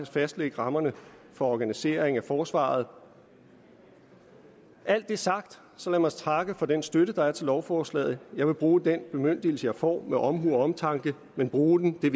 fastlægge rammerne for organiseringen af forsvaret når alt det er sagt så lad mig takke for den støtte der er til lovforslaget jeg vil bruge den bemyndigelse jeg får med omhu og omtanke men bruge den vil